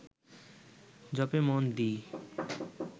জপে মন দি